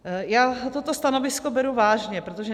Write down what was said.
Já toto stanovisko beru vážně, protože